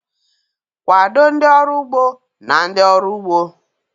Kwado ndị ọrụ ugbo na ndị ọrụ ugbo..